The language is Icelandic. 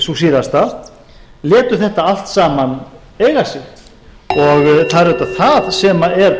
sú síðasta létu þetta allt saman eiga sig það er auðvitað það sem er